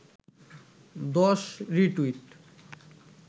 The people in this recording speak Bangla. ১০ রি-টুইট